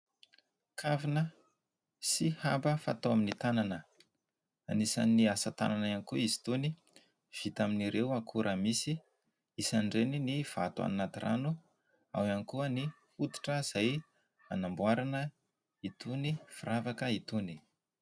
Kavina sy haba fatao amin'ny tanana. Anisan'ny asatanana koa izy itony vita amin'ny akora misy. Isan'ireny ny vato any anaty rano, ao ihany koa ny hoditra izay hanamboarana itony firavaka itony.